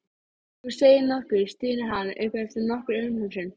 Þú segir nokkuð, stynur hann upp eftir nokkra umhugsun.